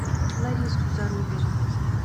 лариску зарубину